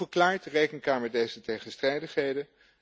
Hoe verklaart de Rekenkamer deze tegenstrijdigheden?